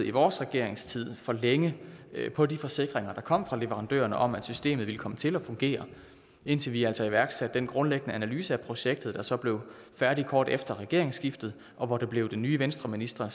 i vores regeringstid stolede for længe på de forsikringer der kom fra leverandørerne om at systemet ville komme til at fungere indtil vi altså iværksatte den grundlæggende analyse af projektet der så blev færdig kort tid efter regeringsskiftet og hvor det blev den nye venstreminister